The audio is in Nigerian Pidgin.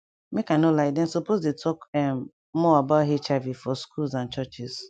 make i no liedem suppose dey talk ehm more about hiv for schools and churches